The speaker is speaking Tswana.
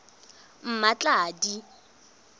mmatladi